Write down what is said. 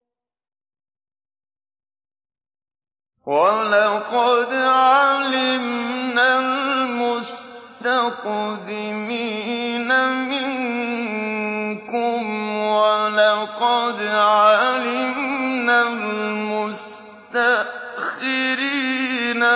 وَلَقَدْ عَلِمْنَا الْمُسْتَقْدِمِينَ مِنكُمْ وَلَقَدْ عَلِمْنَا الْمُسْتَأْخِرِينَ